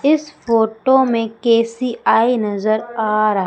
इस फोटो में के_सी_आई नजर आ रहा--